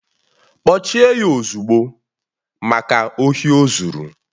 Kpọchie ya ozugbo! Maka ohi ozuru